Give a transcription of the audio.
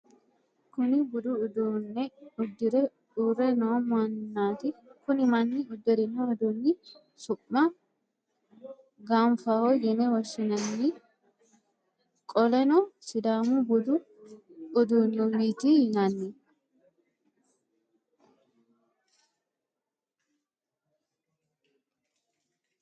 Kunni budu uduune uddire uure noo manati kunni Mani uddirino uduuni su'ma ganfaho yine woshinanni qoleno sidàamu budu uduunwti yinanni